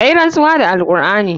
Ka yi rantsuwa da alqur'ani.